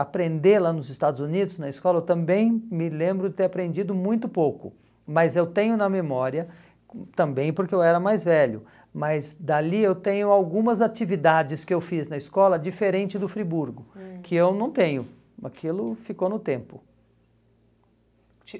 aprender lá nos Estados Unidos, na escola, eu também me lembro de ter aprendido muito pouco, mas eu tenho na memória, hum também porque eu era mais velho, mas dali eu tenho algumas atividades que eu fiz na escola, diferente do Friburgo, hum, que eu não tenho, aquilo ficou no tempo.